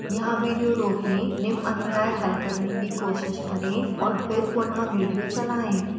यहाँ विडियो रोकें निम्न अध्याय हल करने की कोशिश करें और फिर पुनः विडियो चलाएं